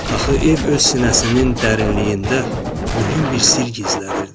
Axı ev öz sinəsinin dərinliyində mühüm bir sirr gizlədirdi.